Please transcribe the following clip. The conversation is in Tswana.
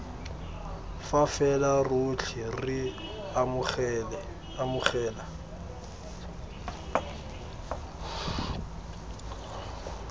fa fela rotlhe re amogela